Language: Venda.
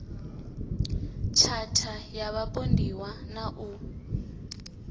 tshatha ya vhapondiwa na u